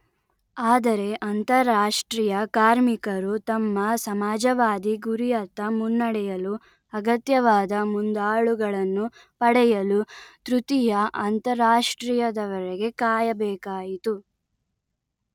ಆದರೆ ಅಂತಾರಾಷ್ಟ್ರೀಯ ಕಾರ್ಮಿಕರು ತಮ್ಮ ಸಮಾಜವಾದಿ ಗುರಿಯತ್ತ ಮುನ್ನಡೆಯಲು ಅಗತ್ಯವಾದ ಮುಂದಾಳುಗಳನ್ನು ಪಡೆಯಲು ತೃತೀಯ ಅಂತಾರಾಷ್ಟ್ರೀಯದವರೆಗೆ ಕಾಯಬೇಕಾಯಿತು